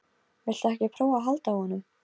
Viltu ekki prófa að halda á honum?